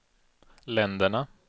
länderna